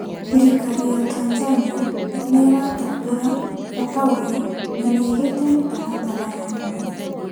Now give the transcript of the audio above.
Thirikari ya Tanzania nĩ ĩratambũra bata ũyũ na nĩ ĩgĩte mĩtaratara ya mwanya